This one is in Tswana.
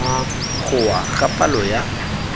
go wa ga palo ya